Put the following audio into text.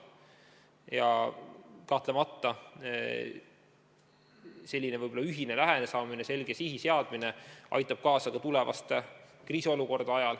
Ja kahtlemata selline ühine lähenemine, selge sihi seadmine aitab kaasa ka tulevaste kriisiolukordade ajal.